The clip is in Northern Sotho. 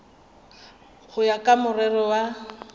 go ya ka morero wa